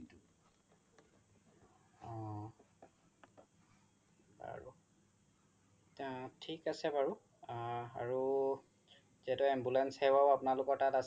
থিক আছে বাৰু আৰু যিহেতু ambulance সেৱাও আপোনালোকৰ তাত আছে